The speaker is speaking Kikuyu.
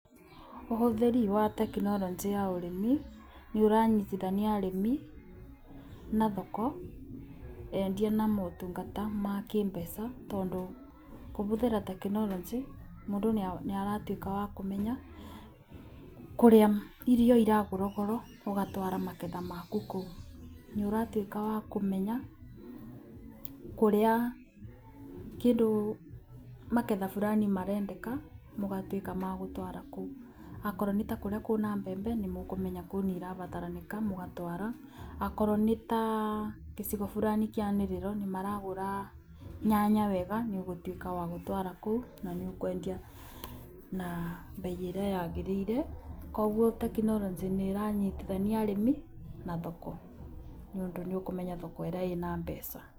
Ũhũthĩri wa tekinoronjĩ ya ũrĩmi nĩũranyitithania arĩmi na thoko, endia na motungata ma kĩmbeca, tondũ kũhũthĩra tekinoronjĩ mũndũ nĩaratuĩka wa kũmenya kũrĩa irio iragũrwo goro ũgatwara magetha maku kũo. Nĩũratuĩka wakũmenya kũrĩa kĩndũ, magetha burani marendeka mũgatuĩka magũtwara kũu. Okorwo nĩtakũrĩa kwĩna mbembe nĩmũkũmenya kũu nĩirabataranĩka, mũgatwara. Okorwo nĩta gĩcigo burani kĩanĩrĩrwo nĩmaragũra nyanya wega nĩũgũtuĩka wagũtwara kũu, nanĩũkwendia na mbei ĩrĩa yagĩrĩire. Kuogwo tekinoronjĩ nĩranyithania arĩmi na thoko, nĩ ũndũ nĩũkũmenya thoko ĩrĩa ĩna mbeca.